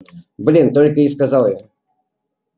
блин только и сказал я